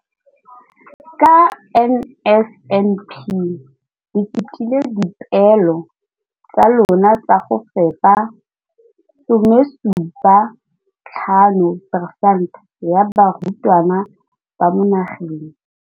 Ka NSNP le fetile dipeelo tsa lona tsa go fepa masome a supa le botlhano a diperesente ya barutwana ba mo nageng.